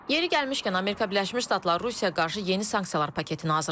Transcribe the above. Yeri gəlmişkən, Amerika Birləşmiş Ştatları Rusiyaya qarşı yeni sanksiyalar paketini hazırlayıb.